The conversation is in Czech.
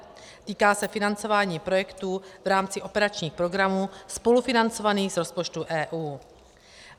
Týká se financování projektů v rámci operačních programů spolufinancovaných z rozpočtu EU.